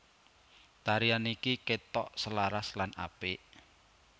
Tarian niki ketok selaras lan apik